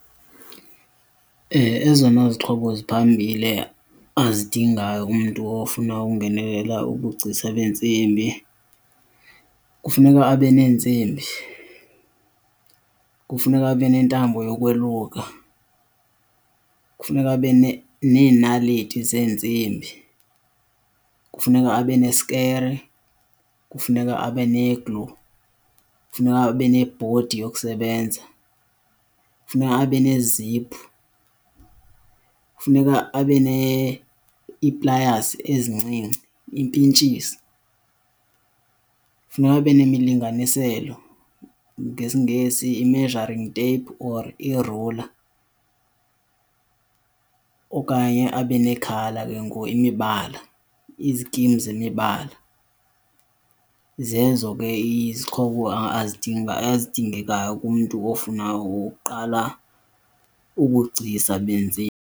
Ezona zixhobo ziphambili azidingayo umntu ofuna ukungenelela ubugcisa bentsimbi kufuneka abe neentsimbi, kufuneka abe neentambo yokweluka, kufuneka abe neenaliti zeentsimbi, kufuneka abe nesikere, kufuneka abe ne-glue, kufuneka abe nebhodi yokusebenza, kufuneka abe neeziphu. Kufuneka abe ii-pliers ezincinci, impintshisi, kufuneka abe nemilinganiselo, ngesiNgesi i-measuring tape or i-ruler okanye abe nee-colour ke ngoku, imibala, izikimu zemibala. Zezo ke izixhobo ezidingekayo kumntu ofuna ukuqala ubugcisa beentsimbi.